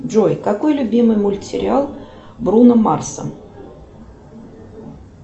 джой какой любимый мультсериал бруно марса